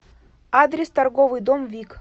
адрес торговый дом вик